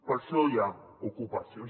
per això hi ha ocupacions